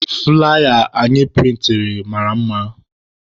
Flaya anyị prịntịrị mara mma.